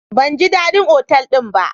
Ban ji dadin otal din ba.